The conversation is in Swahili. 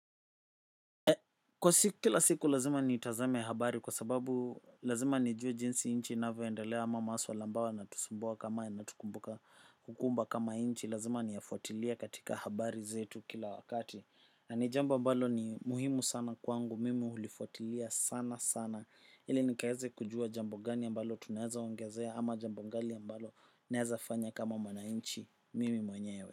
Kwa siku kila siku lazima nitazame habari kwa sababu lazima nijue jinsi nchi inavyoendelea ama masuala ambayo yanatusumbua kama yanayotukumba kama nchi lazima niyafuatilie katika habari zetu kila wakati na ni jambo ambalo ni muhimu sana kwangu mimi hulifuatilia sana sana ili nikaeze kujua jambo gani ambalo tunaeza ongezea ama jambo gani ambalo naeza fanya kama mwananchi mimi mwenyewe.